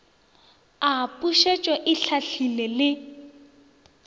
a pušetšo e hlahlile le